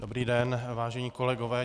Dobrý den, vážení kolegové.